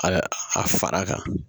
A bɛ a fara a kan